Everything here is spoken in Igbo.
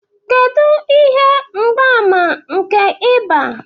Kedu ihe mgbaàmà nke ịba?